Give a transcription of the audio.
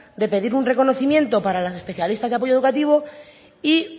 de pedir un reconocimiento para las especialistas de apoyo educativo y